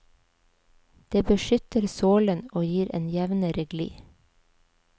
Det beskytter sålen, og gir en jevnere gli.